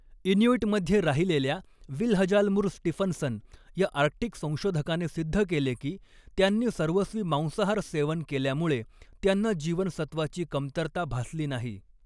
इन्यूइटमध्ये राहिलेल्या Vilhjalmur Stefansson या Arctic संशोधकाने सिद्ध केले की, त्यांनी सर्वस्वी मांसाहार सेवन केल्यामुळे त्यांना जीवनसत्वाची कमतरता भासली नाही.